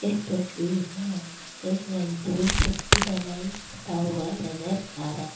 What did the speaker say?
इस तस्वीर में हमें एक मजदूर छत की ढलाई करता हुआ नजर आ रहा --